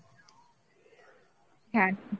হ্যাঁ,